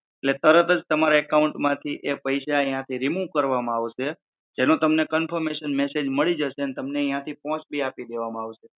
એટલે તરત જ તમારા account માંથી એ પૈસા યાંથી remove કરવમાં આવશે જેનો તમને confirmation mail આવી જશે અને તમને યાંથી પોંચ બી આપી દેવામાં આવશે